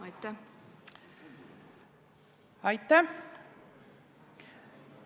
Aitäh!